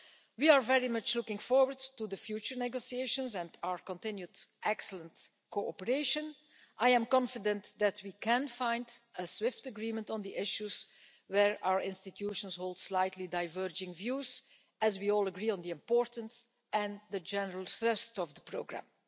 We are very much looking forward to the future negotiations and our continued excellent cooperation. I am confident that we can find a swift agreement on the issues where our institutions hold slightly diverging views, as we all agree on the importance and the general thrust of the programme.